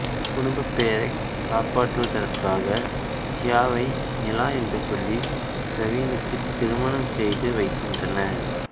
குடும்பப் பெயரைக் காப்பாற்றுவதற்காக தியாவை நிலா என்று சொல்லி பிரவீனுக்குத் திருமணம் செய்து வைக்கின்றனர்